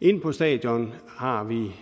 inde på stadion har vi